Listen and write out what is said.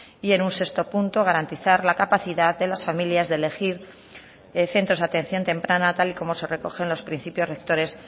y en un sexto punto garantizar la capacidad de las familias de elegir centros de atención temprana tal y como se recoge en los principios rectores